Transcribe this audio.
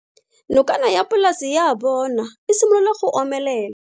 Nokana ya polase ya bona, e simolola go omelela.